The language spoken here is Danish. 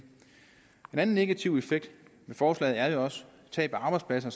anden negativ effekt ved forslaget er jo også tab af arbejdspladser